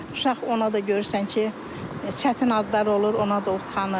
Uşaq ona da görürsən ki, çətin adlar olur, ona da utanır.